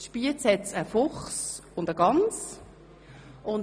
In Spiez gibt es einen Fuchs und eine Gans.